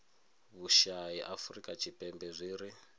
vhushai afurika tshipembe zwi ri